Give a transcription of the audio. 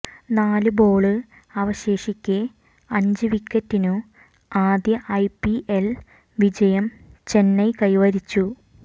നാല് ബോള് അവശേഷിക്കെ അഞ്ച് വിക്കറ്റിനു ആദ്യ ഐപിഎല് വിജയം ചെന്നൈ കൈവരിച്ചു